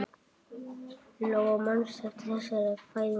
Lóa: Manstu eftir þessari fæðingu?